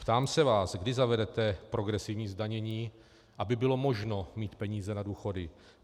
Ptám se vás, kdy zavedete progresivní zdanění, aby bylo možno mít peníze na důchody.